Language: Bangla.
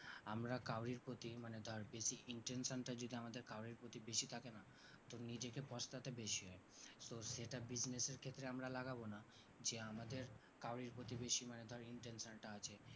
আমরা কাও রির প্রতি মানে ধর বেশি intention টা যদি কাও রির প্রতি বেশি থাকে না তো নিজেকে পস্তাতে বেশি হয় so সেটা business এর ক্ষেত্রে আমরা লাগাবো না যে আমাদের কাও রির প্রতি বেশি মানে ধর intention টা আছে